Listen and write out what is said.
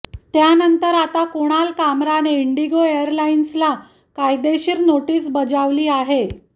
त्यानंतर आता कुणाल कामराने इंडिगो एअरलाईन्सला कायदेशीर नोटीस बजावली आहे